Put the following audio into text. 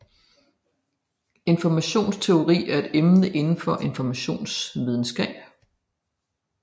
Informationsteori er et emne inden for informationsvidenskab